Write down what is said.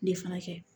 Ne fana kɛ